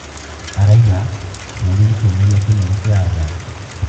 Araiga, "Bũrũri nĩ kĩonereria kĩnene kĩa athaki".